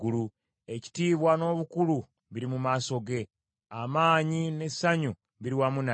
Ekitiibwa n’obukulu biri mu maaso ge, amaanyi n’essanyu biri wamu naye.